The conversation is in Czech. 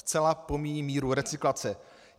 Zcela pomíjím míru recyklace.